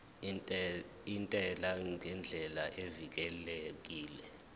intela ngendlela evikelekile